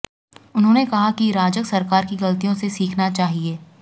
उन्होंने कहा कि राजग सरकार की गलतियों से सीखना चाहिए